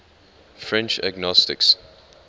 french agnostics